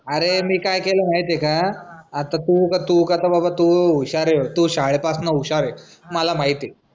अरे मी काय केलं माहिती आहे का आता तू कसं बाबा तू हुशार आहेस तू शाळे पासून हुशार आहेस माला माहिती आहे.